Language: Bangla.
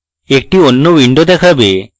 একটি অন্য window দেখাবে